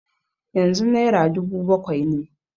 Yanzu naira dubu bakwai ne.